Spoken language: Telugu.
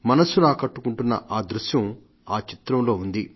మనస్సును ఆకట్టుకుంటున్న ఆ దృశ్యం ఆ చిత్రంలో ఉంది